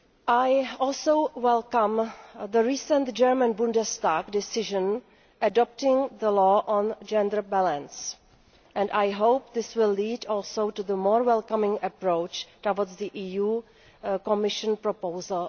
I also welcome the recent German Bundestag decision adopting the law on gender balance, and I hope this will lead also to Germany taking a more welcoming approach towards the EU Commission proposal.